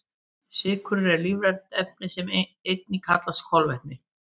Sykrur eru lífræn efni sem einnig kallast kolvetni.